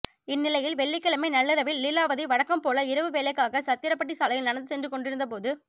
இந்நிலையில் வெள்ளிக்கிழமை நள்ளிரவில் லீலாவதி வழக்கம்போல இரவு வேலைக்காக சத்திரப்பட்டி சாலையில் நடந்து சென்று கொண்டிருந்த போது